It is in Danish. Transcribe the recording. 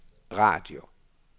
radio